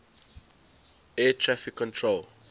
air traffic control